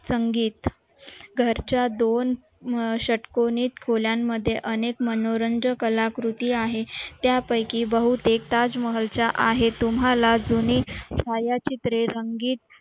संगीत घरच्या दोन शर्टकोनीत खोल्यांमध्ये अनेक मनोरंजक कलाकृती आहे त्यापैकी बहुतेक ताजमहल च्या आहेत तुम्हाला जुनी छायाचित्रे रंगीत